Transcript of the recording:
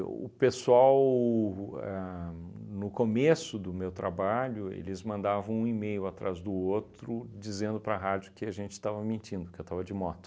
o pessoal ahn, no começo do meu trabalho, eles mandavam um e-mail atrás do outro, dizendo para a rádio que a gente estava mentindo, que eu estava de moto.